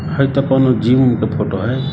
है तो कोनो जिम के फोटो हे।